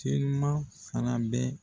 Telima fana bɛ.